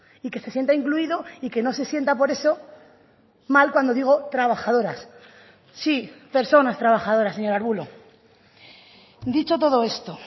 y que se sienta incluido y que no se sienta por eso mal cuando digo trabajadoras sí personas trabajadoras señor arbulo dicho todo esto